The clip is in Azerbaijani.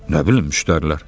Nə bilim, müştərilər.